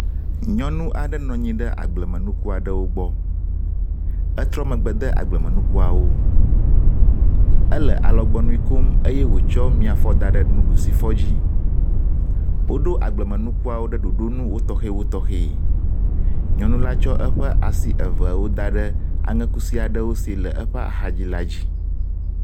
Nyɔnu aɖe nɔnyi ɖe agblemenuku aɖewo gbɔ, etrɔ megbe de agblemenukuawo, ele alɔgbɔ nuikom eye wotsɔ miafɔ da ɖe nuɖusifɔ dzi. Woɖo agblemenukuawo ɖe ɖoɖo nu wotɔxɛwotɔxɛ, nyɔnu la tsɔ eƒe asi eveawo da ɖe aŋe kusi aɖewo si le eƒe axadzi la dzi.